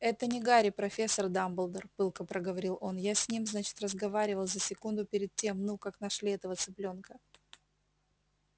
это не гарри профессор дамблдор пылко проговорил он я с ним значит разговаривал за секунду перед тем ну как нашли этого цыплёнка